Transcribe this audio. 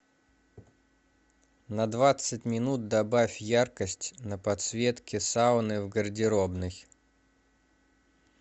на двадцать минут добавь яркость на подсветке сауны в гардеробной